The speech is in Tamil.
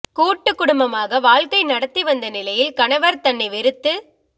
கூட்டு குடும்பமாக வாழ்க்கை நடத்தி வந்த நிலையில் கணவர் தன்னை வெறுத்து